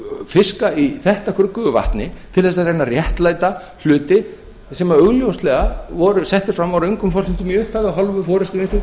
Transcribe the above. fiska í þetta gruggugu vatni til þess að reyna að réttlæta hluti sem augljóslega voru settir fram á röngum forsendum í upphafi af hálfu forustu vinstri